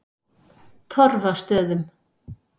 Torfastöðum